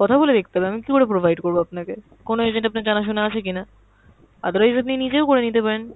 কথা বলে দেখতে হবে, আমি কীকরে provide করব আপনাকে! কোনো agent আপনার জানা-শোনা আছে কিনা। otherwise আপনি নিজেও করে নিতে পারেন।